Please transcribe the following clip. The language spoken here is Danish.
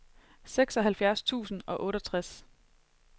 seksoghalvfjerds tusind og otteogtres